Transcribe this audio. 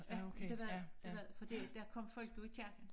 Ja det var det det var det for der der kom folk jo i kirken